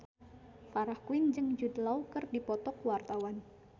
Farah Quinn jeung Jude Law keur dipoto ku wartawan